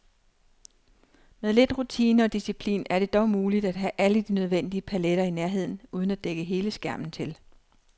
Med lidt rutine og disciplin er det dog muligt at have alle de nødvendige paletter i nærheden uden at dække hele skærmen til.